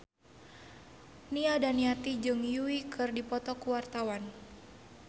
Nia Daniati jeung Yui keur dipoto ku wartawan